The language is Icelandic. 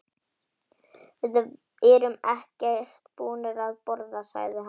Við erum ekkert búnir að borða, sagði hann.